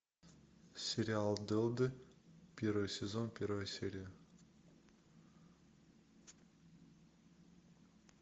сериал дылды первый сезон первая серия